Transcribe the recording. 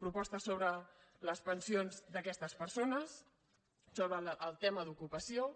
propostes sobre les pensions d’aquestes persones sobre el tema d’ocupació